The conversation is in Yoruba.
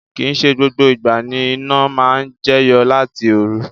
Kii se gbogbo igba ni ina maa n jeyo lati oru